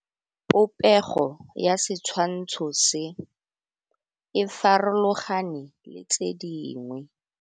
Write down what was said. Popêgo ya setshwantshô se, e farologane le tse dingwe.